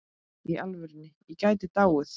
Í alvöru, ég gæti dáið.